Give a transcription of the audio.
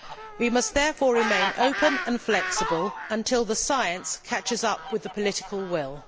We must therefore remain open and flexible until the science catches up with the political will.